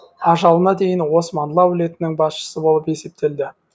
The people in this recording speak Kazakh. ажалына дейін османлы әулетінің басшысы болып есептелді